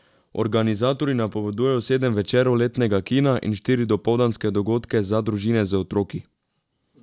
Organizatorji napovedujejo sedem večerov letnega kina in štiri dopoldanske dogodke za družine z otroki.